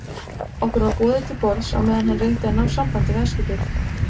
Okkur var boðið til borðs á meðan hann reyndi að ná sambandi við Eskifjörð.